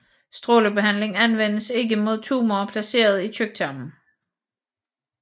Strålebehandling anvendes ikke mod tumorer placeret i tyktarmen